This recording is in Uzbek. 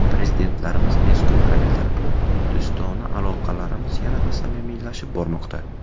Prezidentlarimiz ezgu harakatlari bilan do‘stona aloqalarimiz yanada samimiylashib bormoqda.